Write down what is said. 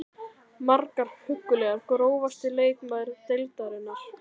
Margar huggulegar Grófasti leikmaður deildarinnar?